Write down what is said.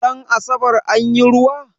Ran asabar anyi ruwa?